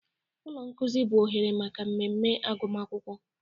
Ụlọ nkuzi bụ oghere maka mmemme agụma akwụkwọ.